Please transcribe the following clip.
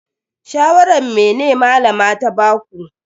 Shawaran mene Malama ta baku?